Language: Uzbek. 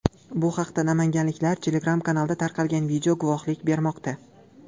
Bu haqda namanganliklar Telegram-kanalida tarqalgan video guvohlik bermoqda.